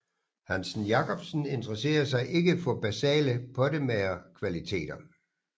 Hansen Jacobsen interesserede sig ikke for basale pottemagerkvaliteter